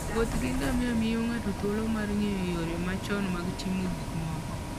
Wuoth gi ngamia miyo ng'ato thuolo mar ng'eyo yore machon mag timo gik moko.